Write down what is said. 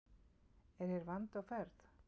En hér er vandi á ferð.